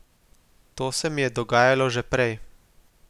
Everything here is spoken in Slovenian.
To se mi je dogajalo že prej.